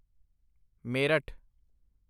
Meerut